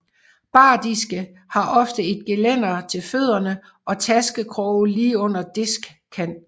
Bardiske har ofte et gelænder til fødderne og taskekroge lige under diskkanten